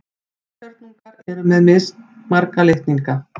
Heilkjörnungar eru með mismarga litninga.